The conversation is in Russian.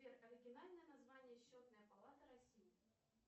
сбер оригинальное название счетная палата россии